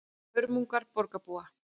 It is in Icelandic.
Hörmungar borgarbúa